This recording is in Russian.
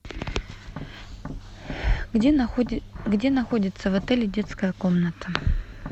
где находится в отеле детская комната